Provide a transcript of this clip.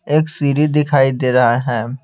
एक सीडी दिखाई दे रहा है।